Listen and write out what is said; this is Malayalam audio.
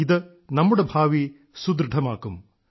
ഇത് നമ്മുടെ ഭാവി സുദൃഢമാക്കും